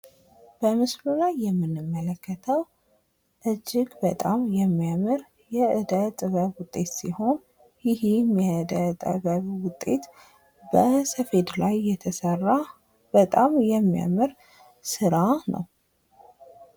በምስሉ ላይ የምንመለከተዉ እጅግ በጣም የሚያምር የእደ ጥበብ ዉጤት ሲሆን ይህም የእደ ጥበብ ዉጤት በሰፌድ ላይ የተሰራ በጣም የሚያምር ስራ ነዉ።